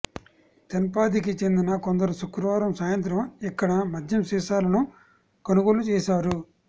తెన్పాదికి చెందిన కొందరు శుక్రవారం సాయింత్రం ఇక్కడ మద్యం సీసాలను కొనుగోలు చేశారు